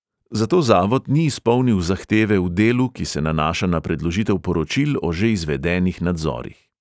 Zato zavod ni izpolnil zahteve v delu, ki se nanaša na predložitev poročil o že izvedenih nadzorih.